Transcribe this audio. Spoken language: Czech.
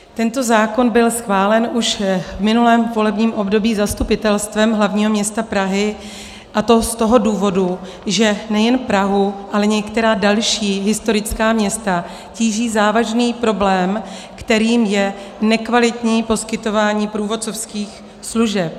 Tento zákon byl schválen už v minulém volebním období Zastupitelstvem hlavního města Prahy, a to z toho důvodu, že nejen Prahu, ale některá další historická města tíží závažný problém, kterým je nekvalitní poskytování průvodcovských služeb.